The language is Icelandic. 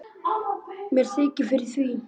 Mér þykir fyrir því.